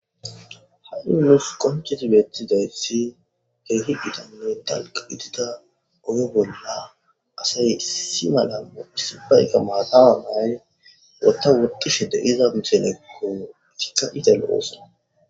ha7i nuus qonchetibettizayssi keehi gitanne talq itida oyo bolla asay si malammo issibayka maatawa maaye wotta woqishe deiza musenekko isika izal oosona